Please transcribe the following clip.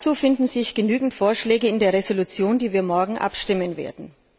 Dazu finden sich genügend Vorschläge in der Entschließung, über die wir morgen abstimmen werden.